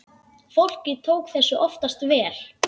Fólkið tók þessu oftast vel.